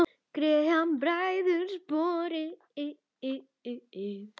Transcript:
Greikka bræður sporið.